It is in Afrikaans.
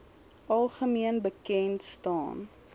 algemeen bekend staan